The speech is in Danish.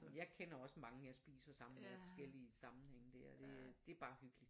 Jeg kender også mange jeg spiser sammen med forskellige samling dér det det er bare hyggeligt